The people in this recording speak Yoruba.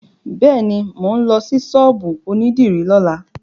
Bẹ́ẹ̀ni, mò ń lọ sí ṣọ́ọ̀bù onídìrí lọ́la.